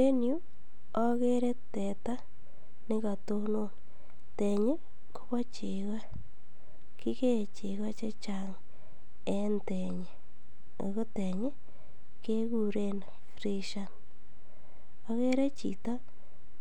En yuu okere teta nekotonon tenyi Kobo cheko kikee cheko che Chang en tenyi ako tenyi kekuren freshern. okere chito